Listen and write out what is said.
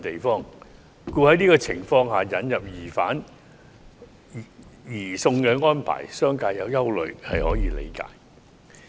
因此，在這情況下引入移交疑犯的安排，商界存有憂慮也是可以理解的。